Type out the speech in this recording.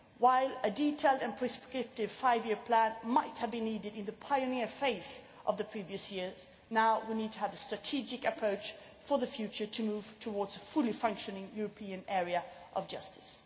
While a detailed and prescriptive five year plan might have been needed in the pioneer phase of previous years, we now need to have a strategic approach for the future in order to move towards a fully functioning European area of justice.